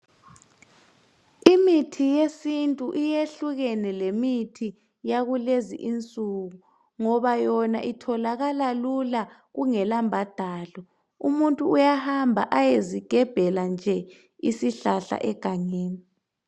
Imithi yesintu iyehlukene lemithi yakulezinsuku ngoba yona itholakala lula kungelambadalo. Umuntu uyahamba ayezigebhela nje isihlahla egangeni.